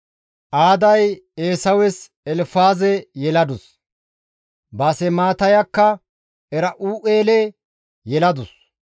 Aaday Eesawes Elfaaze yeladus; Baasemaatayakka Era7u7eele yeladus;